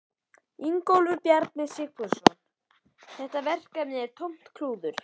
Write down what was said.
Ingólfur Bjarni Sigfússon: Er þetta verkefni tómt klúður?